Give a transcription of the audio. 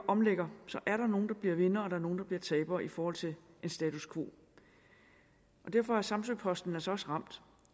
omlægger er der nogle der bliver vindere og nogle der bliver tabere i forhold til status quo derfor er samsø posten altså også ramt